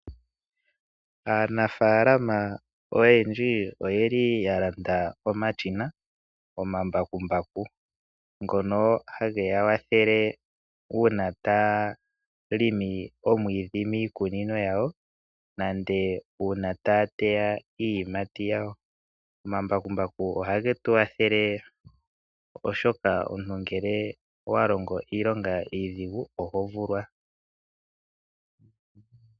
Aanafaalama oyendji oyeli ya landa omashina, omambakumbaku ngono hage ya kwathele uuna taya longo omwiidhi miikunino yawo, nenge uuna taya teya iiyimati yawo. Omambakumbaku ohage tu kwathele oshoka omuntu ngele owa longo iilonga iidhigu ohovulwa.